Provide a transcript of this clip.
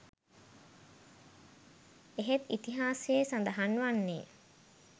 එහෙත් ඉතිිහාසයේ සඳහන් වන්නේ